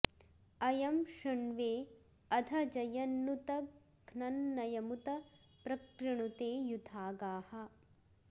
अयं शृण्वे अध जयन्नुत घ्नन्नयमुत प्र कृणुते युधा गाः